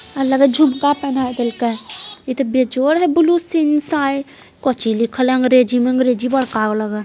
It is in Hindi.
अलग-अलग हैं इसका जोड़ यह है कि अच्छी चीजें भी दिख रही हैं।